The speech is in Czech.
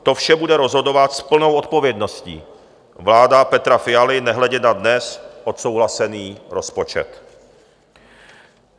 To vše bude rozhodovat s plnou odpovědností vláda Petra Fialy nehledě na dnes odsouhlasený rozpočet.